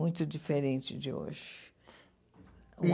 Muito diferente de hoje. E